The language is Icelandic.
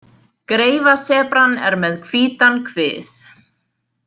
Greifasebran er með hvítan kvið.